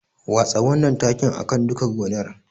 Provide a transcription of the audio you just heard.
Watsa wannan takin a kan duka gonar.